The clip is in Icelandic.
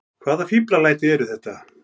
Hvaða fíflalæti eru þetta!